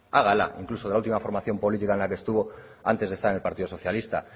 hágala incluso de la ultima formación política en la que estuvo antes de estar en el partido socialista